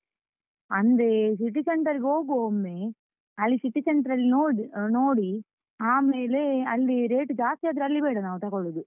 ಅಂದ್ರೆ City Centre ಗೆ ಹೋಗುವಾ ಒಮ್ಮೆ, ಅಲ್ಲಿ City Centre ಅಲ್ಲಿ ನೋಡ್ ಅಹ್ ನೋಡಿ, ಆಮೇಲೆ ಅಲ್ಲಿ rate ಜಾಸ್ತಿ ಆದ್ರೆ ಅಲ್ಲಿ ಬೇಡ ನಾವ್ ತಕೊಳ್ಳುದು.